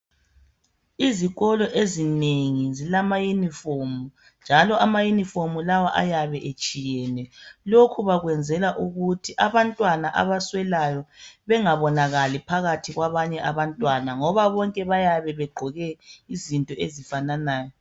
Izikolo ezinengi zilama uniform njalo ama uniform lawa ayabe etshiyene. Lokho bakwenzela ukuthi abantwana abaswelayo bengabonakali phakathi kwabanye abantwana ngoba bonke bayabe beqoke izinto ezifananayo.